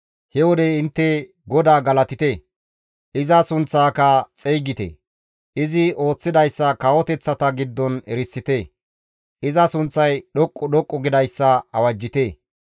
He wode intte GODAA galatite! Iza sunththaaka xeygite. Izi ooththidayssa kawoteththata giddon erisite. Iza sunththay dhoqqu dhoqqu gidayssa awajjite.